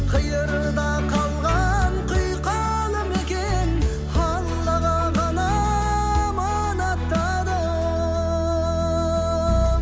қиырда қалған құйқалы мекен аллаға ғана аманаттадым